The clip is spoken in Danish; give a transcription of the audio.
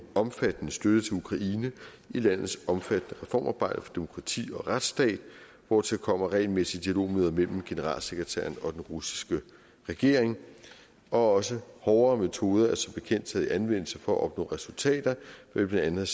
omfattende støtte til ukraine i landets omfattende reformarbejde for demokrati og at retsstat hvortil kommer regelmæssige dialogmøder mellem generalsekretæren og den russiske regering og også hårdere metoder er som bekendt taget i anvendelse for at opnå resultater blandt andet